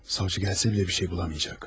Savcı gəlsə belə bir şey bulamayacaq.